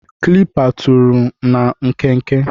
Kalịpa tụrụ na nkenke.